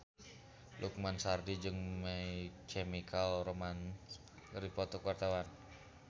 Lukman Sardi jeung My Chemical Romance keur dipoto ku wartawan